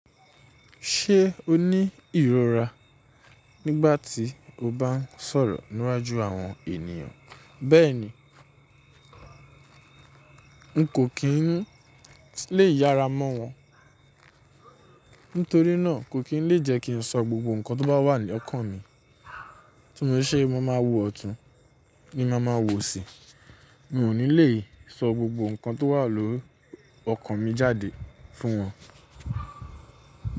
Ṣé o ní ìrora nígbà tí mo bá ń sọ̀rọ̀ níwájú àwọn ènìyàn. Bẹ́ẹ̀ni, n kò kí ń lè yára mọ́ wọn. Nítorí náà kò kí ń lè jẹ́ kí n sọ gbogbo ǹkan tó bá wà ní ọkàn mi. Tí mo ṣé mo máa wo ọ̀tún ni máa ma wò osí. Mi ò ní lè sọ gbogbo ǹkan tó wà lọ́ ọkàn mi jáde fún wọn.